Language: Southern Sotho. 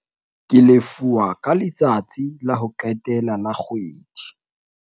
ke lefuwa ka letsatsi la ho qetela la kgwedi